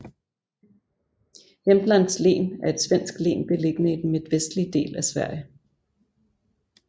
Jämtlands län er et svensk län beliggende i den midtvestlige del af Sverige